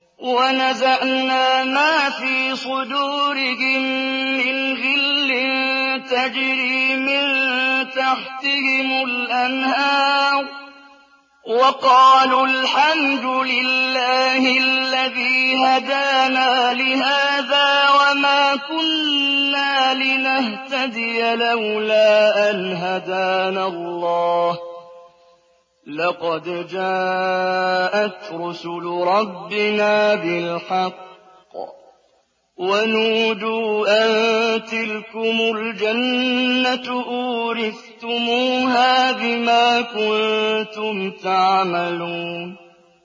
وَنَزَعْنَا مَا فِي صُدُورِهِم مِّنْ غِلٍّ تَجْرِي مِن تَحْتِهِمُ الْأَنْهَارُ ۖ وَقَالُوا الْحَمْدُ لِلَّهِ الَّذِي هَدَانَا لِهَٰذَا وَمَا كُنَّا لِنَهْتَدِيَ لَوْلَا أَنْ هَدَانَا اللَّهُ ۖ لَقَدْ جَاءَتْ رُسُلُ رَبِّنَا بِالْحَقِّ ۖ وَنُودُوا أَن تِلْكُمُ الْجَنَّةُ أُورِثْتُمُوهَا بِمَا كُنتُمْ تَعْمَلُونَ